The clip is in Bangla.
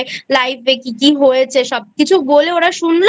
Life এ কী কী হয়েছে সবকিছু বলেওরা শুনল